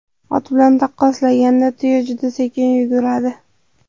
Ot bilan taqqoslaganda tuya juda sekin yuguradi.